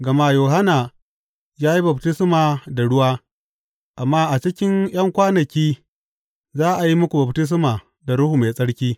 Gama Yohanna ya yi baftisma da ruwa, amma a cikin ’yan kwanaki za a yi muku baftisma da Ruhu Mai Tsarki.